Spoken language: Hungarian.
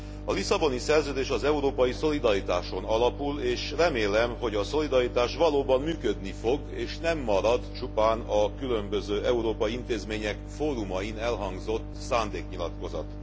A Lisszaboni Szerződés az európai szolidaritáson alapul és remélem, hogy a szolidaritás valóban működni fog és nem marad csupán a különböző európai intézmények fórumain elhangzott szándéknyilatkozat.